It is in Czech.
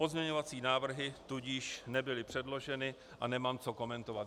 Pozměňovací návrhy tudíž nebyly předloženy a nemám co komentovat.